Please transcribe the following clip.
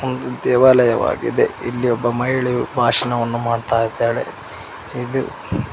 ಒಂದು ದೇವಾಲಯವಾಗಿದೆ ಇಲ್ಲಿ ಒಬ್ಬ ಮಹಿಳೆಯು ಭಾಷಣವನ್ನು ಮಾಡ್ತಾ ಇದ್ದಾಳೆ ಇದು--